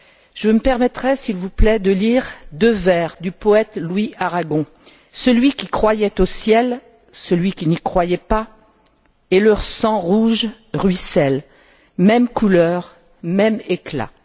Je me permettrai s'il vous plaît de lire deux vers du poète Louis Aragon Celui qui croyait au ciel, celui qui n'y croyait pas, et leur sang rouge ruisselle, même couleur, même éclat.